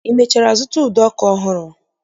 I mechara zụta ụdọ ọkụ ọhụrụ?